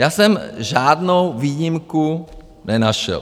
Já jsem žádnou výjimku nenašel.